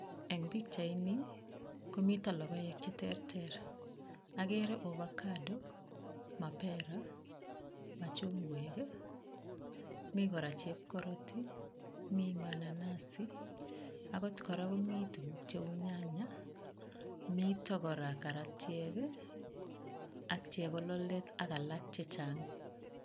Eng pichaini, komito logoek che terter. Agere avocado, mapera, machungwek ii, mi kora chepkoroti, mi mananasi akot kora komi tuguk cheu nyanya, mito kora karatiek ak chebololet ak alak che chang.